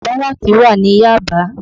Báràkì wà ní Yaba